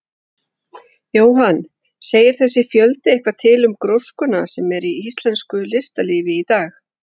Jóhann: Segir þessi fjöldi eitthvað til um gróskuna sem er í íslensku listalífi í dag?